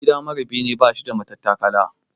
Gida mara bene bashi da matattakala.